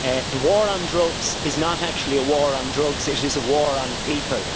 The war on drugs is not actually a war on drugs, it is a war on people.